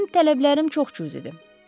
Mənim tələblərim çox cüzidir.